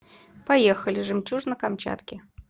поехали жемчужина камчатки